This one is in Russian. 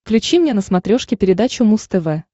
включи мне на смотрешке передачу муз тв